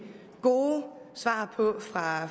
gode svar på fra